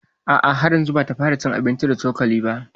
A a, har yanzu bata fara cin abinci da cokali ba